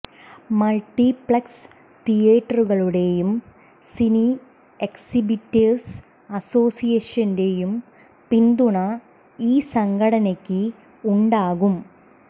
multiplex തീയേറ്ററുകളുടെയും cine exhibitors അസോസിയേഷന്റെയും പിന്തുണ ഈ സംഘടനക്ക് ഉണ്ടാകും